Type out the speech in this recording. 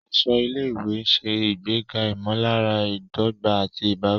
Aṣọ ilé-ìwé ń ṣe ìgbéga ìmọ̀lára ìdọ́gba àti ìbáwí.